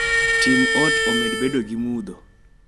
Tim ot omed bedo gi mudho